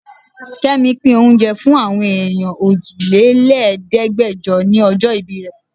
Kẹ́mi pín oúnjẹ fún àwọn èèyàn òjì-lé-ní-Ẹ̀ẹ́dẹgbejo ni ọjọ́ ìbí rẹ.